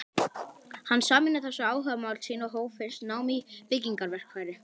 Hann sameinaði þessi áhugamál sín og hóf fyrst nám í byggingarverkfræði.